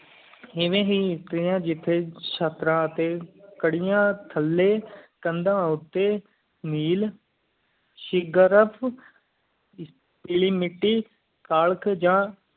ਐਵੀ ਹੀ ਚੈਟ ਰਾ ਟੀ ਕਰਿਆ ਥਾਲੀ ਕਾਂਡ ਓਟਟੀ ਮੀਲ ਸ਼ਿਗਾਰਾਪ ਦੀ ਮਿੱਟੀ ਘਾਲ ਗ਼ਜ਼ਾ